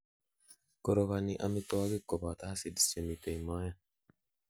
korogoni amitwogik koboto acids chemiten moet